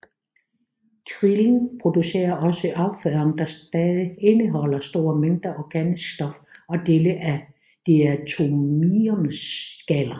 Krillen producerer også afføring der stadig indeholder store mængder organisk stof og dele af diatomeernes skaller